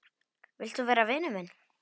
Vilt þú vera vinur minn?